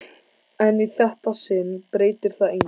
En í þetta sinn breytir það engu.